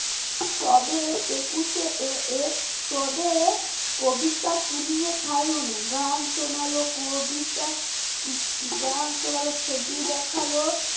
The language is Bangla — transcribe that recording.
তবে একুশে এ এর এর তোদের কবিতা শুনিয়ে ছাড়লো না গান শোনালো কবিতা গান শোনালো ছবি দেখালো